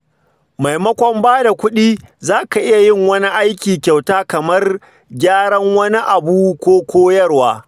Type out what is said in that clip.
Maimakon ba da kuɗi, za ka iya yin wani aiki kyauta kamar gyaran wani abu ko koyarwa.